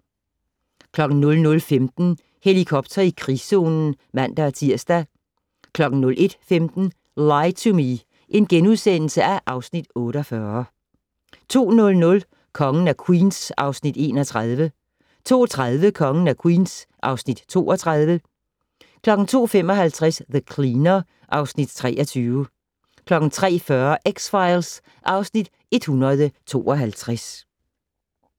00:15: Helikopter i krigszonen (man-tir) 01:15: Lie to Me (Afs. 48)* 02:00: Kongen af Queens (Afs. 31) 02:30: Kongen af Queens (Afs. 32) 02:55: The Cleaner (Afs. 23) 03:40: X-Files (Afs. 152)